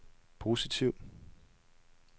positivt